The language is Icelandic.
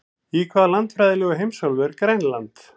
Í hvaða landfræðilegu heimsálfu er Grænland?